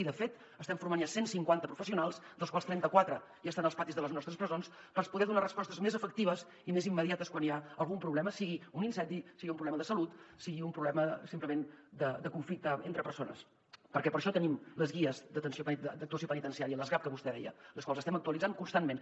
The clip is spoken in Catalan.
i de fet estem formant ja cent cinquanta professionals dels quals trenta quatre ja estan als patis de les nostres presons per poder donar respostes més efectives i més immediates quan hi ha algun problema sigui un incendi sigui un problema de salut sigui un problema simplement de conflicte entre persones perquè per això tenim les guies d’actuació penitenciària les gap que vostè deia les quals estem actualitzant constantment